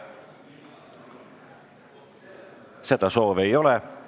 Seda soovi ei ole.